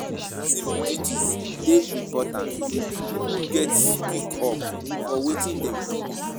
um Civic duties dey important; pipo gatz speak up for wetin dem believe.